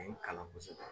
kalan kosɛbɛ